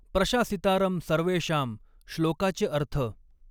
प्रशासितारं सर्वेषां श्लोकाचे अर्थ